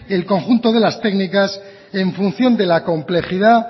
el conjunto de las técnicas en función de la complejidad